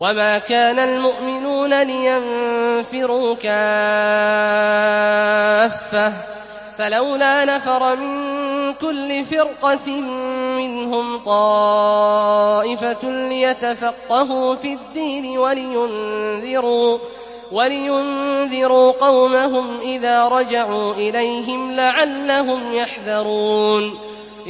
۞ وَمَا كَانَ الْمُؤْمِنُونَ لِيَنفِرُوا كَافَّةً ۚ فَلَوْلَا نَفَرَ مِن كُلِّ فِرْقَةٍ مِّنْهُمْ طَائِفَةٌ لِّيَتَفَقَّهُوا فِي الدِّينِ وَلِيُنذِرُوا قَوْمَهُمْ إِذَا رَجَعُوا إِلَيْهِمْ لَعَلَّهُمْ يَحْذَرُونَ